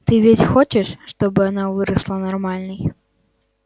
ты ведь хочешь чтобы она выросла нормальной